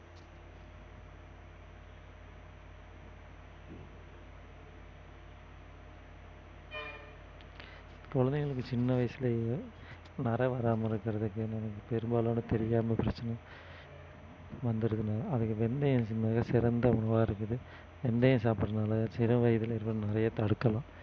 குழந்தைகளுக்கு சின்ன வயசுலயே நரை வராம இருக்கிறதுக்கு பெரும்பாலோன வந்துருதுன்னு அதுக்கு வெந்தயம் மிகச்சிறந்த உணவா இருக்குது வெந்தயம் சாப்பிடறதுனால சிறுவயதிலிருந்த தடுக்கலாம்